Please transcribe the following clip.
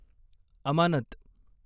अमानत